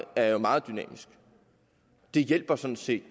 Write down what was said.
er jo meget dynamisk det hjælper sådan set